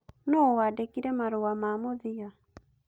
Nũũ wandĩkĩire marũa ma mũthia?